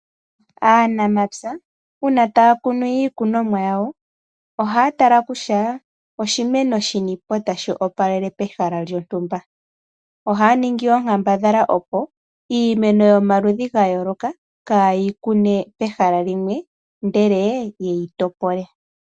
Aanamapya uuna taa kunu iikunomwa yawo ohaa tala kutya oshimeno shini po tashi opalele pehala lyontumba ohaa ningi onkambadhala kutya iimeno yomaludhi ga yooloka kayeyi kune pehala limwe ihe yeyi topole.